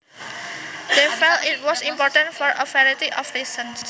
They felt it was important for a variety of reasons